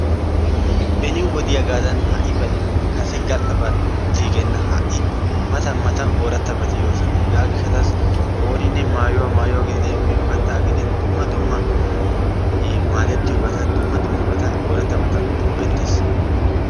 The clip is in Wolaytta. Beni wodiyaagadan ha'ibay kase gal'aban utiigenna ha'i matan matan ooratabati yoosona. Hegaa gishataassi ooninne maayuwa maayuwa gididee miyo kattaa gidin dumma dumma maadettiyobata dumma dummabata oratabata go'ettees.